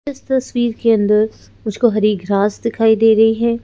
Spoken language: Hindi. इस तस्वीर के अंदर मुझको हरी घास दिखाई दे रही है।